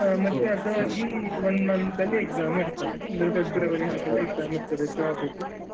ಮತ್ತೆ ಅದಾಗಿ ಒಂದ್ month ಅಲ್ಲಿ examಇರ್ತದೆ ಅಂದ್ರೆ ಫೆಬ್ರವರಿ ಹಾಗೆಲ್ಲ examಇರ್ತದೆ job ದು.